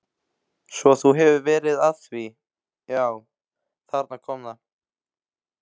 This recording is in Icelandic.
Svo þú hefur verið að því já, þarna kom það.